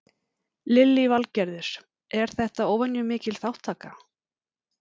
Lillý Valgerður: Er þetta óvenju mikil þátttaka?